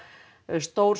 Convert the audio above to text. stór